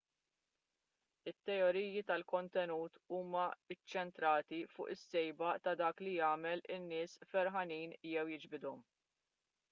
it-teoriji tal-kontenut huma ċċentrati fuq is-sejba ta' dak li jagħmel in-nies ferħanin jew jiġbidhom